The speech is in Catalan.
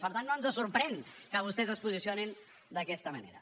per tant no ens sorprèn que vostès es posicionin d’aquesta manera